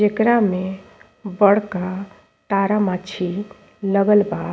एकरा में बड़का तारा माची लगल बा।